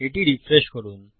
এটি রিফ্রেশ করুন